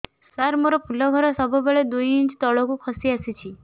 ସାର ମୋର ଫୁଲ ଘର ସବୁ ବେଳେ ଦୁଇ ଇଞ୍ଚ ତଳକୁ ଖସି ଆସିଛି